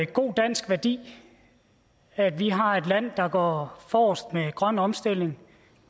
god dansk værdi at vi har et land der går forrest med grøn omstilling